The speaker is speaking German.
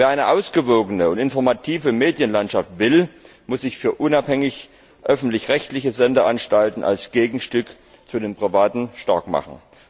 Wer eine ausgewogene und informative Medienlandschaft will, muss sich für unabhängige öffentlich rechtliche Sendeanstalten als Gegenstück zu den privaten Sendeanstalten starkmachen.